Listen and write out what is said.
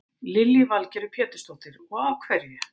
Lillý Valgerður Pétursdóttir: Og af hverju?